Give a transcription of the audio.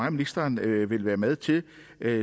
at ministeren vil være med til